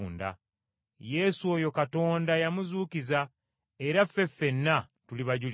Yesu oyo Katonda yamuzuukiza, era ffe ffenna tuli bajulirwa.